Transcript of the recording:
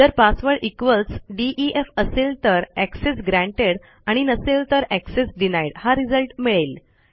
जर password equals DEF असेल तर एक्सेस ग्रँटेड आणि नसेल तर एक्सेस डिनाईड हा रिझल्ट मिळेल